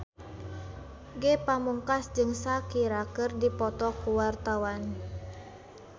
Ge Pamungkas jeung Shakira keur dipoto ku wartawan